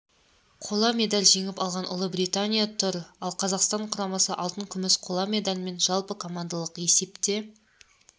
қола медаль жеңіп алған ұлыбритания тұр ал қазақстан құрамасы алтын күміс қола медальмен жалпыкомандалық есепте